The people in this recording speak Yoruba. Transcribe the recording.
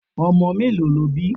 Omo mélòó lo bí?